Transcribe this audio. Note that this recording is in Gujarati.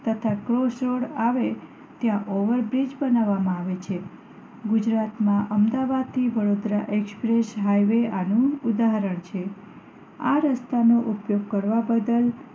તથા ક્રોસ રોડ આવેલ ત્યાં over bridge બનાવામાં આવે છે ગુજરાત માં અમદાવાદ થી વડોદરા એક્સપ્રેસ હાઇવે આનું ઉદાહરણ છે આ રસ્તા નો ઉપયોગ કરવાં બદલ